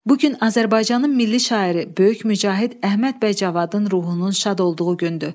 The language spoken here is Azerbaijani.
Bu gün Azərbaycanın Milli Şairi, Böyük Mücahid Əhməd bəy Cavanın ruhunun şad olduğu gündür.